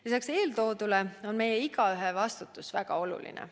Lisaks eeltoodule on meie igaühe vastutus väga oluline.